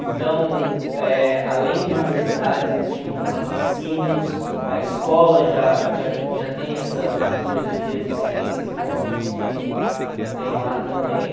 Então, eh além de universidades, eles tinham patrocínios, a escola já já já tem essa cultura de feira de ciências, que normalmente tem tem lá também.